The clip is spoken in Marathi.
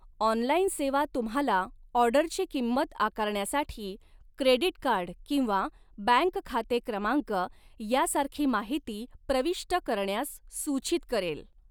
ऑनलाइन सेवा तुम्हाला ऑर्डरची किंमत आकारण्यासाठी क्रेडिट कार्ड किंवा बँक खाते क्रमांक यासारखी माहिती प्रविष्ट करण्यास सूचित करेल.